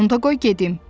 Onda qoy gedim!